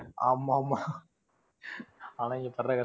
ஆமா ஆமா. ஆனா இங்க படற கஷ்டம்